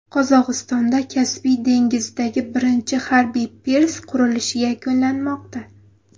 Qozog‘istonda Kaspiy dengizidagi birinchi harbiy pirs qurilishi yakunlanmoqda.